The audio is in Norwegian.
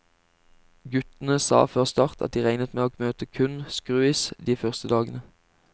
Guttene sa før start at de regnet med å møte kun skruis de første dagene.